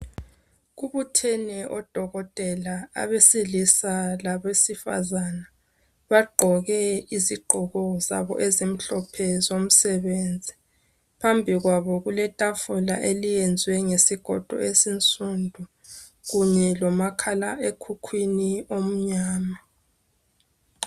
Kubuthene odokotela abesilisa labesifazana bagqoke izigqoko zabo ezimhlophe zomsebenzi phambi kwabo kuletafula eliyenzwe ngesigodo esinsundu kunye lomakhala ekhukwini omnyama